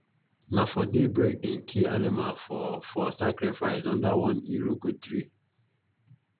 na for daybreak them kill animal for for sacrifice under one iroko tree